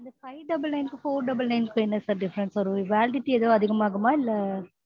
five double nine four double nine என்ன sir different validity ஏதும் அதிகம் ஆகுமா? இல்ல